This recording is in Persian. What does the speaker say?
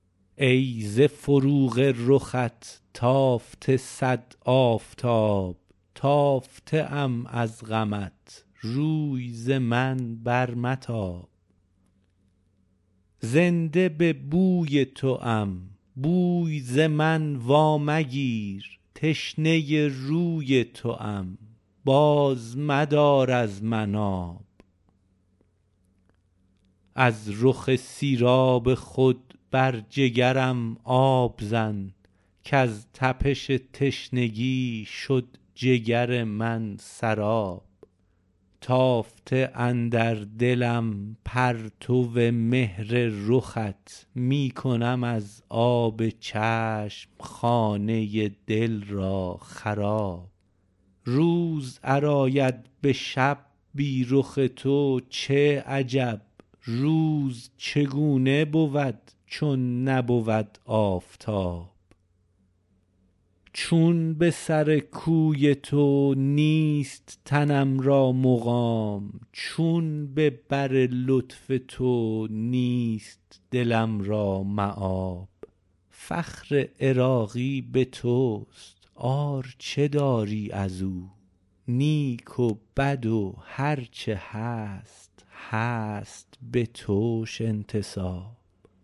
ای ز فروغ رخت تافته صد آفتاب تافته ام از غمت روی ز من بر متاب زنده به بوی توام بوی ز من وامگیر تشنه روی توام باز مدار از من آب از رخ سیراب خود بر جگرم آب زن کز تپش تشنگی شد جگر من سراب تافته اندر دلم پرتو مهر رخت می کنم از آب چشم خانه دل را خراب روز ار آید به شب بی رخ تو چه عجب روز چگونه بود چون نبود آفتاب چون به سر کوی تو نیست تنم را مقام چون به بر لطف تو نیست دلم را مآب فخر عراقی به توست عار چه داری ازو نیک و بد و هرچه هست هست بتوش انتساب